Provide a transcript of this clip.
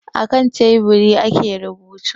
A kan teburi ake rubutu